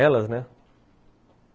Elas, né?